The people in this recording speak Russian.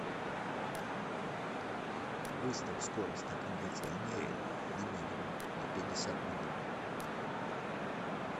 выставь скорость на кондиционере на минимум на пятьдесят минут